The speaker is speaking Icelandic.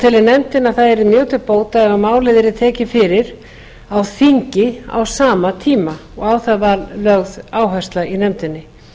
telur nefndin að það yrði mjög til bóta ef málið yrði tekin fyrir á þingi á sama tíma og á það var lögð áhersla í nefndinni